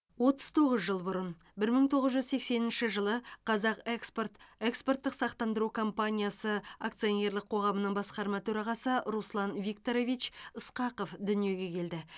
отыз тоғыз жыл бұрын бір мың тоғыз жүз сексенінші жылы қазақ экспорт экспорттық сақтандыру компаниясы акционерлік қоғамының басқарма төрағасы руслан викторович ысқақов дүниеге келді